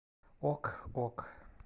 ок ок